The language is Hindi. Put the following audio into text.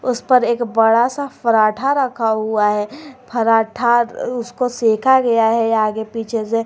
उस पर एक बड़ा सा फराठा रखा हुआ है फराठा उसको सेका गया है आगे पीछे से।